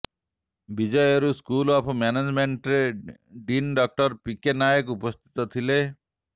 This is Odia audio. ବିଜିୟୁର ସ୍କୁଲ ଅଫ୍ ମ୍ୟାନେଜମେଣ୍ଟ୍ର dean doctor P K Nayak ଉପସ୍ଥିତ ଥିଲେ